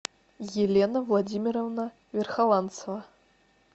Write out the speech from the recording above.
елена владимировна верхоланцева